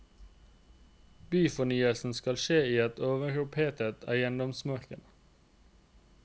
Byfornyelsen skal skje i et overopphetet eiendomsmarked.